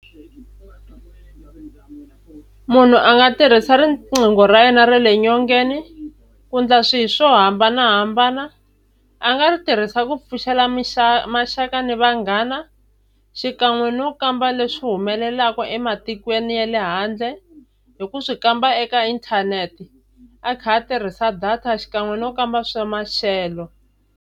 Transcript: Munhu a nga tirhisa riqingho ra yena ra le nyongeni ku endla swilo swo hambanahambana. A nga ri tirhisa ku pfuxela maxaka ni vanghana, xikan'we no kamba leswi humelelaka ematikweni ya le handle hi ku swi kamba eka inthanete a kha a tirhisa data xikan'we no kamba swa maxelo.